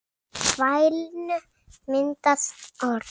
Í vælinu myndast orð.